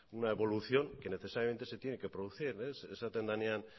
una evolución que necesariamente se tiene que producir esaten denean